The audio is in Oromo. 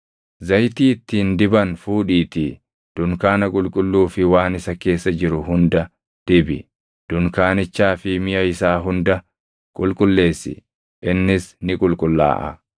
“Zayitii ittiin diban fuudhiitii dunkaana qulqulluu fi waan isa keessa jiru hunda dibi; dunkaanichaa fi miʼa isaa hunda qulqulleessi; innis ni qulqullaaʼa.